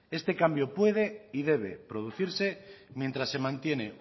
este cambio puede y debe producirse mientras se mantiene